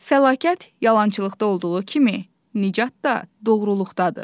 Fəlakət yalançılıqda olduğu kimi, nicat da doğruluqdadır.